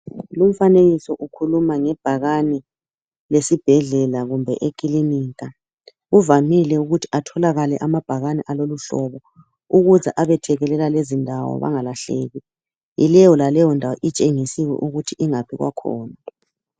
Umfanekiso ukhuluma ngebhakane lesibhedlela kumbe ekilinika kuvamile ukuthi atholakale amabhakane alolu hlobo ukuze abethekela lezi ndawo bengalahleki. Yileyo laleyo ndawo itshengisiwe ingaphi kwakhona.